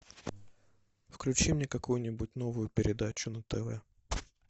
включи мне какую нибудь новую передачу на тв